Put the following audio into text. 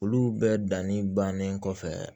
Olu bɛɛ danni bannen kɔfɛ